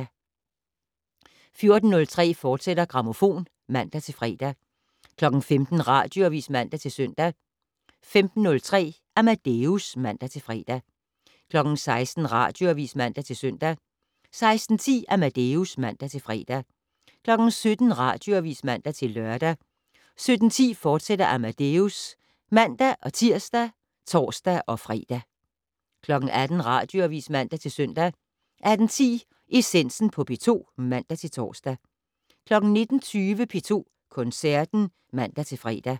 14:03: Grammofon, fortsat (man-fre) 15:00: Radioavis (man-søn) 15:03: Amadeus (man-fre) 16:00: Radioavis (man-søn) 16:10: Amadeus (man-fre) 17:00: Radioavis (man-lør) 17:10: Amadeus, fortsat (man-tir og tor-fre) 18:00: Radioavis (man-søn) 18:10: Essensen på P2 (man-tor) 19:20: P2 Koncerten (man-fre)